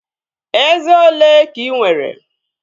Eze olee ka ị nwere?